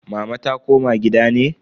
Mama ta koma gida ne?